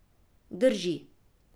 Drži.